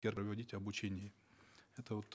первое вводить обучение это вот